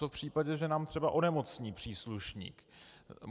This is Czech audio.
Co v případě, že nám třeba onemocní příslušník?